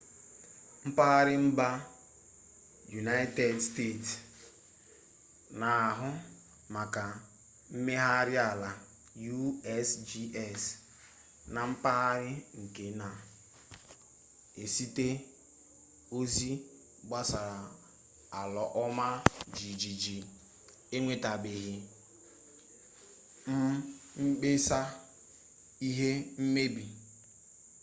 mpaghara mba yunaịted steeti na-ahụ maka mmegharị ala usgs na mpaghara nke na-ezite ozi gbasara ala ọma jijiji enwetabeghị mkpesa ihe mmebi